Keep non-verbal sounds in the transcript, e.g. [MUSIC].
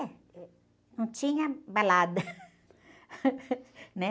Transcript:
É, não tinha balada, né? [LAUGHS]